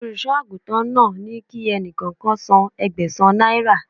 Olùṣọ́ àgùntàn náà ní kí ẹni kọ̀ọ̀kan san Ẹgbẹ̀sán náírà